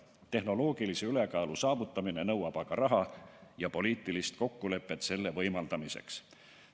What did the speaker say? Tehnoloogilise ülekaalu saavutamine nõuab aga raha ja poliitilist kokkulepet selle võimaldamiseks.